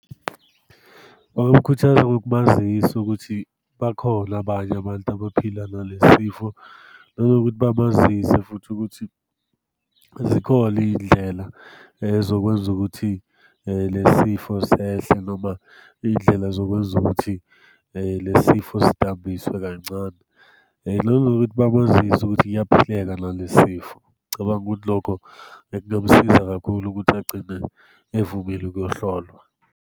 Bangamkhuthaza ngokumazisa ukuthi bakhona abanye abantu abaphila nale sifo, nanokuthi bamazisa futhi ukuthi zikhona iy'ndlela zokwenza ukuthi le sifo sehle, noma iy'ndlela zokwenza ukuthi le sifo sidambiswe kancane. Nanokuthi bamazise ukuthi kuyaphileka nale sifo. Ngicabanga ukuthi lokho, kungamsiza kakhulu ukuthi agcine evumile ukuyohlolwa.